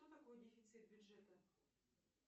что такое дефицит бюджета